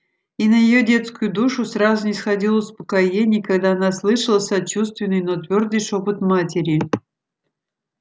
и на её детскую душу сразу нисходило успокоение когда она слышала сочувственный но твёрдый шёпот матери